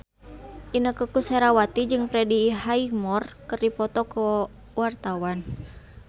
Inneke Koesherawati jeung Freddie Highmore keur dipoto ku wartawan